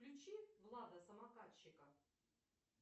включи влада самокатчика